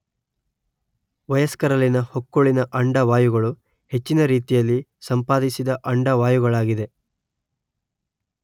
ವಯಸ್ಕರಲ್ಲಿನ ಹೊಕ್ಕುಳಿನ ಅಂಡವಾಯುಗಳು ಹೆಚ್ಚಿನ ರೀತಿಯಲ್ಲಿ ಸಂಪಾದಿಸಿದ ಅಂಡವಾಯುಗಳಾಗಿದೆ